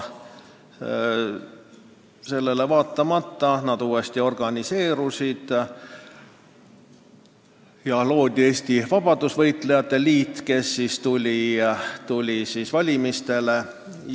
Sellele vaatama nad uuesti organiseerusid ja loodi Eesti Vabadussõjalaste Liit, kes tuli valimistele.